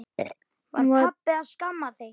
Var pabbi að skamma þig?